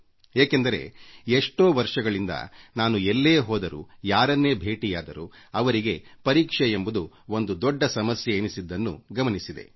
ಏಕೆಂದರೆ ಎಷ್ಟೋ ವರ್ಷಗಳಿಂದ ನಾನು ಎಲ್ಲೆ ಹೋದರೂ ಯಾರನ್ನೇ ಭೇಟಿಮಾಡಿದರೂ ಅವರಿಗೆ ಪರೀಕ್ಷೆ ಎಂಬುದು ಒಂದು ದೊಡ್ಡ ಆತಂಕದ ವಿಷಯ ಎನಿಸಿದ್ದನ್ನು ಗಮನಿಸಿದ್ದೇನೆ